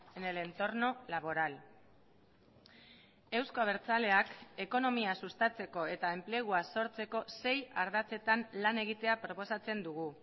en el entorno laboral euzko abertzaleak ekonomia sustatzeko eta enplegua sortzeko sei ardatzetan lan egitea proposatzen dugu